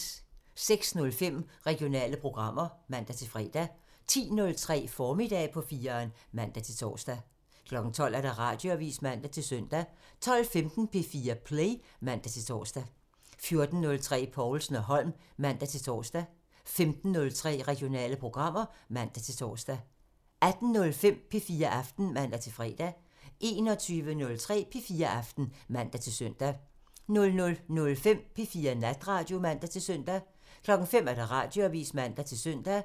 06:05: Regionale programmer (man-fre) 10:03: Formiddag på 4'eren (man-tor) 12:00: Radioavisen (man-søn) 12:15: P4 Play (man-tor) 14:03: Povlsen & Holm (man-tor) 15:03: Regionale programmer (man-tor) 18:05: P4 Aften (man-fre) 21:03: P4 Aften (man-søn) 00:05: P4 Natradio (man-søn) 05:00: Radioavisen (man-søn)